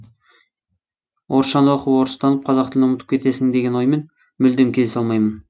орысшаны оқып орыстанып қазақ тілін ұмытып кетесін деген оймен мүлдем келісе алмаймын